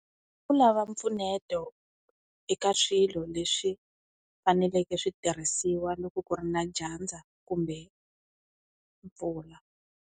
I ku lava mpfuneto eka swilo, leswi faneleke switirhisiwa loko ku ri na dyandza kumbe mpfula.